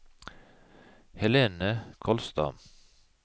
Helene Kolstad